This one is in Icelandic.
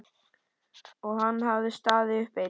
Og hann hafði staðið uppi einn.